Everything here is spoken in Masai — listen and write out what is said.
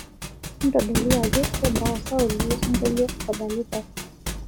ntodolo ajo kebaa osauti losingolio odalitai